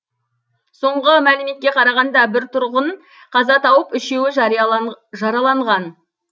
соңғы мәліметке қарағанда бір тұрғын қаза тауып үшеуі жараланған